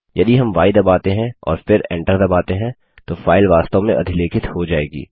यदि हम य दबाते हैं और फिर एंटर दबाते हैं तो फाइल वास्तव में अधिलेखित हो जायेगी